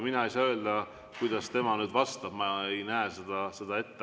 Mina ei saa öelda, kuidas tema vastab, ma ei näe seda ette.